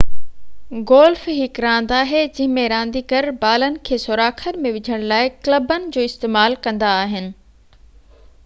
golf هڪ راند آهي جنهن ۾ رانديگر بالن کي سوراخن ۾ وجهڻ لاءِ ڪلبن جو استعمال ڪندا آهن